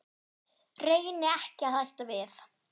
Reyni ekki að hætta því.